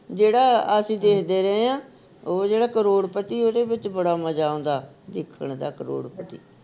ਜਿਹੜਾ ਅਸੀਂ ਦੇਖਦੇ ਰਹੇ ਆ ਓਹ ਜਿਹੜਾ ਕਰੋੜਪਤੀ ਉਹਦੇ ਵਿਚ ਬੜਾ ਮਜਾ ਆਉਂਦਾ ਦੇਖਣ ਦਾ ਕਰੋੜਪਤੀ